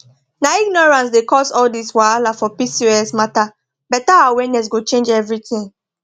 na ignorance dey cause all this wahala for pcos matter better awareness go change everything